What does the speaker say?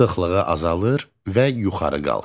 Sıxlığı azalır və yuxarı qalxır.